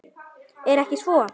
Er ekki svo?